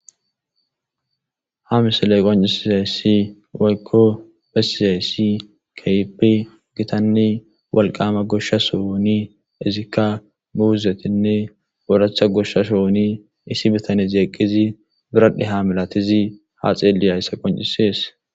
Ha misiley qonccisizayssi woykko bessizayssi keehippe gitanne wolqama goshsha sohoni izikka muuzetinne oraththa goshsha sohoni issi bitanezi eqqidi biradhe ha malati izi ha masatizayssa qonccisees.